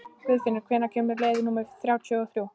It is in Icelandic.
Guðfinnur, hvenær kemur leið númer þrjátíu og þrjú?